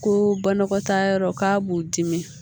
Ko banakɔtaa yɔrɔ k'a b'u dimi